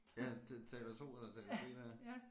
Ja det taler 2 eller taler B dér